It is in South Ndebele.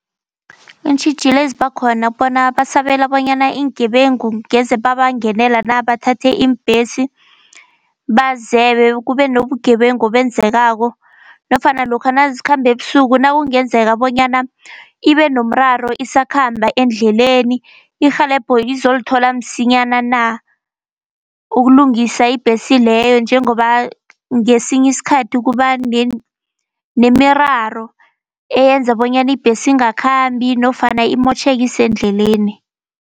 Iintjhijilo eziba khona bona basabela bonyana iingebengu ngeze babangenela na, bathathe iimbhesi bazebe. Kube nobugebengu obungenzekako nofana lokha nazikhambe ebusuku nakungenzeka bonyana ibe nomraro isakhamba endleleni, irhelebho izolithola msinyana na, ukulungisa ibhesi leyo. Njengoba ngesinyiskhathi kuba nemiraro eyenza bonyana ibhesi ingakhambi nofana imotjheke isendleleni.